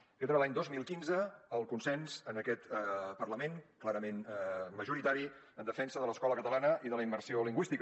aquest era l’any dos mil quinze el consens en aquest parlament clarament majoritari en defensa de l’escola catalana i de la immersió lingüística